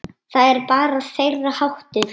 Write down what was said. Það er bara þeirra háttur.